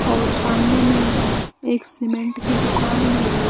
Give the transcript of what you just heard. और सामने में एक सीमेंट की दुकान भी है।